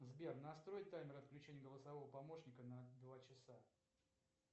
сбер настрой таймер отключения голосового помощника на два часа